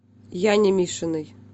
яне мишиной